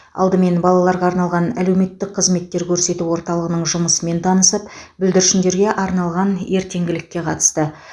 алдымен балаларға арналған әлеуметтік қызметтер көрсету орталығының жұмысымен танысып бүлдіршіндерге арналған ертеңгілікке қатысты